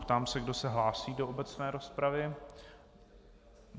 Ptám se, kdo se hlásí do obecné rozpravy.